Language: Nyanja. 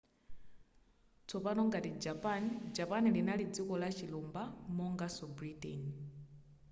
tsopano ngati japan japan linali dziko lachilumba monganso britain